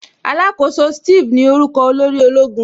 Alakoso Steve ní orúkọ olórí ológun